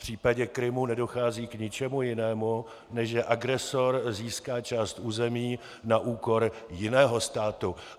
V případě Krymu nedochází k ničemu jinému, než že agresor získá část území na úkor jiného státu.